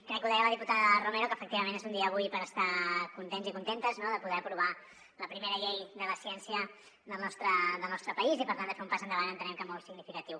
crec que ho deia la diputada romero que efectivament és un dia avui per estar contents i contentes no de poder aprovar la primera llei de la ciència del nostre país i per tant de fer un pas endavant entenem que molt significatiu